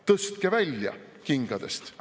Tõstke välja kingadest.